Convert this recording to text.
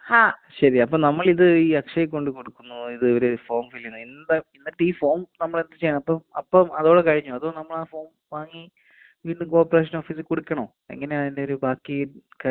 ശരി അപ്പൊ നമ്മളിത് ഈ അക്ഷയീ കൊണ്ട് കൊടുക്കുന്നൂ, ഇത് ഒരു ഫോം ഫിൽ ചെയ്യുന്നു. എന്താ എന്നിട്ട് ഈ ഫോം നമ്മള് എന്ത് ചെയ്യണം അപ്പൊ അപ്പം അതോടെ കഴിഞ്ഞോ അതോ നമ്മളാ ഫോം വാങ്ങി വീണ്ടും കോർപ്പറേഷൻ ഓഫീസിൽ കൊടുക്കണോ? എങ്ങനെയാ അതിന്റെയൊരു ബാക്കീ കാര്യങ്ങള്?